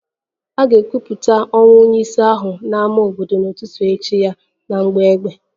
A ga-ekwupụta ọnwụ onye isi ahụ n'ámá obodo n'ụtụtụ echi ya na mgbọ egbe